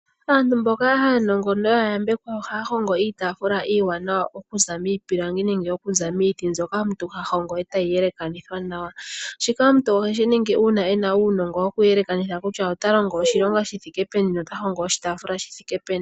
Aantu mboka aanongo noyayambekwa ohaahongo iitaafula iiwanawa, okuza miipilangi nenge okuza miiti mbyoka omuntu hahongo etayiyelekanithwa nawa. Shika omuntu oheshiningi uuna ena uunongo wokuyelekanitha kutya, otalongo oshilonga shithike peni nothing oshitaafula shithike peni.